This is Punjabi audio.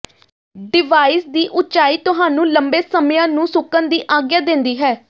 ਡਿਵਾਈਸ ਦੀ ਉਚਾਈ ਤੁਹਾਨੂੰ ਲੰਬੇ ਸਮਿਆਂ ਨੂੰ ਸੁੱਕਣ ਦੀ ਆਗਿਆ ਦਿੰਦੀ ਹੈ